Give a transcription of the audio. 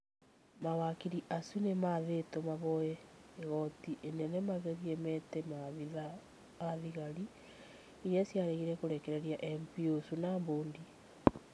Mawakiri acio nĩ mathĩtwo mahoye igoti inene magerie mete maabitha a thigari iria ciaregire kũrekereria MP ũci na mbũndi.